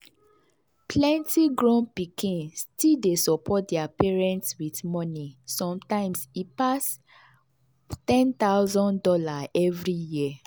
plenty grown pikin still dey support their parents with money sometimes e pass one thousand dollars0 every year.